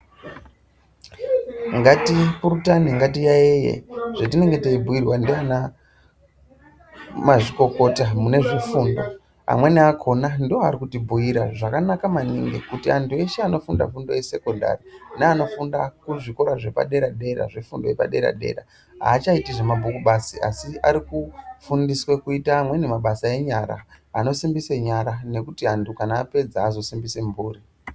Ngatipurutane ngatiyaiye zvetinenge teibhuyirwa ndiana mazvikokota mune zvefundo. Amweni akona ndoari kutibhuyira zvakanaka maningi kuti antu eshe anofunda fundo yesekondari neanofunda kuzvikora zvepadera-dera, zvefundo yepadera-dera haachaiti zvamabhuku basi asi ari kufundiswe kuita amweni mabasa enyara anosimbise nyara nekuti antu kana apedza azosimbise mburi.